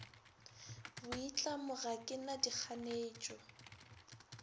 boitlamo ga ke na dikganetšo